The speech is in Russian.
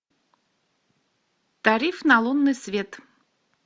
тариф на лунный свет